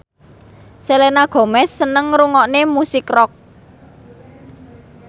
Selena Gomez seneng ngrungokne musik rock